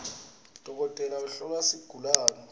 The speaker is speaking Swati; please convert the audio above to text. dokotela uhlola sigulawe